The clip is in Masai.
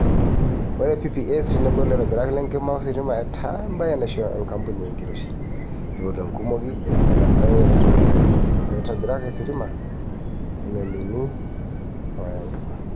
Ore PPAs tenebo laitobirak le nkima o sitima etaa embaye naisho enkampuni enkiroshi, ipotu enkumoki enye elaare eton eitu epik laitobirak ositima ilainini ooya enkima.